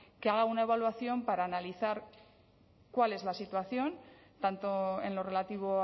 que haga una evaluación para analizar cuál es la situación tanto en lo relativo